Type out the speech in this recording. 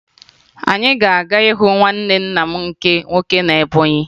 Anyị na-aga ịhụ nwanne nna m nke nwoke na Ebọnyị